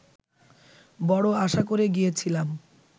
বড় আশা করে গিয়েছিলাম